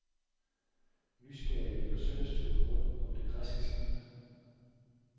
Nysgerrige lægger søndagsturen rundt om det græske skib.